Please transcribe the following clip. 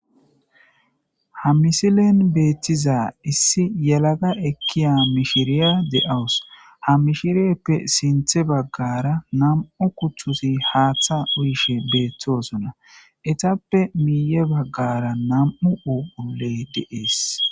ha misilen beettiza issi yelaga ekkiya mishiriya de7awus ha mishirieppe sinthe baggara namu kuththusi haaththa uyishe beeththoosonna etappe miiye baggara nam7u uuley deees